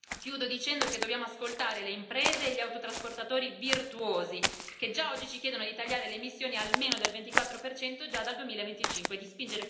Chiudo dicendo che dobbiamo ascoltare le imprese e gli autotrasportatori virtuosi, che già oggi ci chiedono di tagliare le emissioni almeno del 24 già dal 2025 e di spingere con decisione verso l'elettrificazione dei veicoli pesanti.